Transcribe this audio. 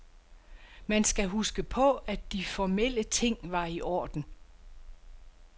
Man skal huske på, at de formelle ting var i orden.